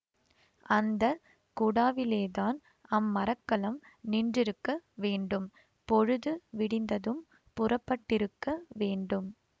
அந்த குடாவிலேதான் அம்மரக்கலம் நின்றிருக்க வேண்டும் பொழுது விடிந்ததும் புறப்பட்டிருக்க வேண்டும்